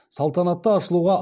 салтанатты ашылуға